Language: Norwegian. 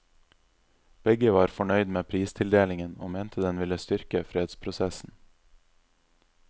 Begge var fornøyd med pristildelingen, og mente den ville styrke fredsprosessen.